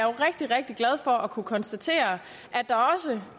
rigtig rigtig glad for at kunne konstatere